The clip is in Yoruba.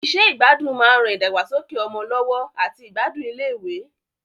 Iṣẹ́ ìgbádùn máa ń ran ìdàgbàsókè ọmọ lọ́wọ́ àti ìgbádùn iléèwé